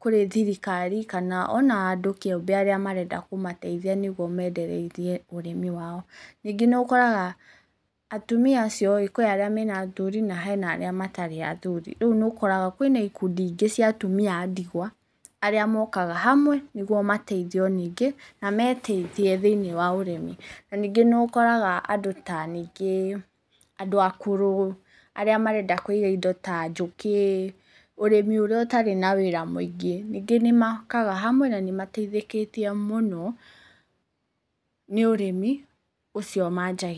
kũrĩ thirikari kana ona andũ kĩũmbe arĩa marenda kũmateithia nĩguo mendereithie ũrĩmi wao. Ningĩ nĩũkoraga atumia acio-ĩ kwĩ arĩa mena athuri na he arĩa matarĩ athuri. Rĩu nĩũkoraga kwĩna ikundi ingĩ cia atumia a ndigwa arĩa mokaga hamwe nĩguo mateithio ningĩ na meteithie thĩiniĩ wa ũrĩmi. Na ningĩ nĩũkoraga andũ ta ningĩ andũ akũrũ arĩa marenda kũiga indo ta njũkĩ, ũrĩmi ũrĩa ũtarĩ na wĩra mũingĩ, ningĩ nĩmokaga hamwe na nĩmateithĩkĩtio mũno nĩ ũrĩmi ũcio manjagia.